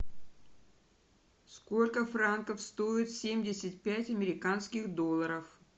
сколько франков стоит семьдесят пять американских долларов